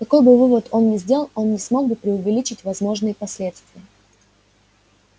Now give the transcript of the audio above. какой бы вывод он ни сделал он не смог бы преувеличить возможные последствия